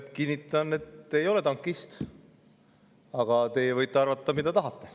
Kinnitan, et ma ei ole tankist, aga teie võite arvata, mida tahate.